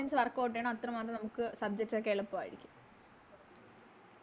Questions workout ചെയ്യണം അത്രമാത്രം നമുക്ക് Subject ഒക്കെ എളുപ്പാരിക്കും